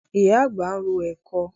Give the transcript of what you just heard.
Ìyá àgbà ń ro ẹ̀kọ.